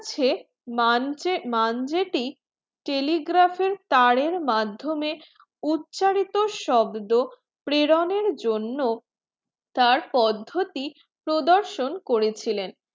টি telegraph তারের মাধ্যমে উচ্চারিত শব্দ প্রেরণের জন্য তার পদ্ধতির প্রদর্শন করেছিলেন।